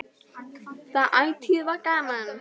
Það ætíð var gaman.